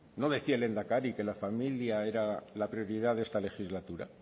no decía el lehendakari que la familia era la prioridad de esta legislatura